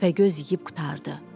Təpəgöz yeyib qurtardı.